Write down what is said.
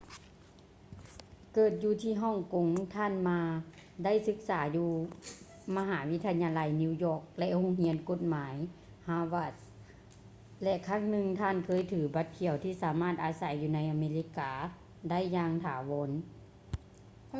ເກີດຢູ່ທີ່ຮ່ອງກົງ ທ່ານ ma ໄດ້ສຶກສາຢູ່ມະຫາວິທະຍາໄລ new york ແລະ ໂຮງຮຽນກົດໝາຍ harvard ແລະ ຄັ້ງໜຶ່ງທ່ານເຄີຍຖື ບັດຂຽວ ທີ່ສາມາດອາໄສຢູ່ໃນອາເມລິກາໄດ້ຢ່າງຖາວອນ